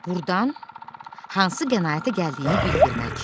Burdan hansı qənaətə gəldiyini bildirmək.